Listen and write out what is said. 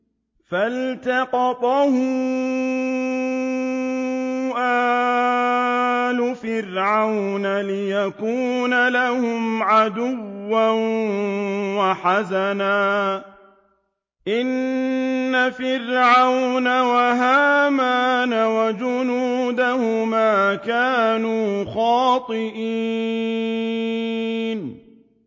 فَالْتَقَطَهُ آلُ فِرْعَوْنَ لِيَكُونَ لَهُمْ عَدُوًّا وَحَزَنًا ۗ إِنَّ فِرْعَوْنَ وَهَامَانَ وَجُنُودَهُمَا كَانُوا خَاطِئِينَ